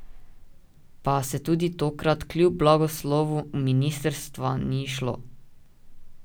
Pa se tudi tokrat kljub blagoslovu ministrstva ni izšlo.